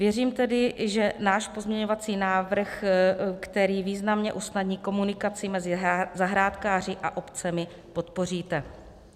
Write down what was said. Věřím tedy, že náš pozměňovací návrh, který významně usnadní komunikaci mezi zahrádkáři a obcemi, podpoříte.